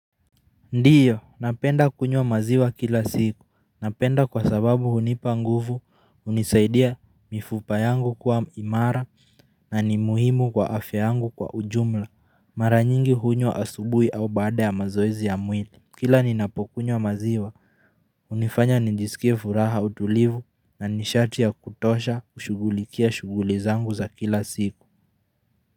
Ndiyo, napenda kunywa maziwa kila siku, napenda kwa sababu hunipa nguvu, unisaidia mifupa yangu kuwa imara, na ni muhimu kwa afya yangu kwa ujumla, mara nyingi hunywa asubui au baada ya mazoezi ya mwili, kila ninapokunywa maziwa. Hunifanya nijisikie furaha utulivu, na nishati ya kutosha kushugulikia shuguli zangu za kila siku.